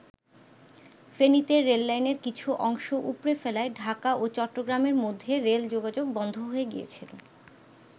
ফেনীতে রেললাইনের কিছু অংশ উপড়ে ফেলায় ঢাকা ও চট্টগ্রামের মধ্যে রেল যোগাযোগ বন্ধ হয়ে গিয়েছিল।